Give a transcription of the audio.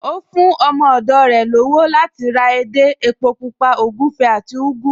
Ó fún ọmọ ọ̀dọ̀ rẹ̀ lọ́wọ́ láti ra edé, epo Pupa, ògúfe àti ugu